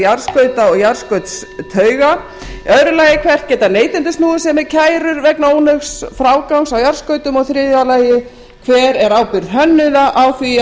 fyrirkomulag og gerð jarðskauta og jarðskautstauga annað hvert geta neytendur snúið sér með kærur vegna ónógs frágangs á jarðskautum þriðji hver er ábyrgð hönnuða á því að